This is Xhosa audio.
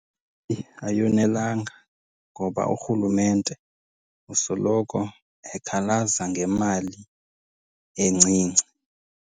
Ayonelanga ngoba urhulumente usoloko ekhalaza ngemali encinci.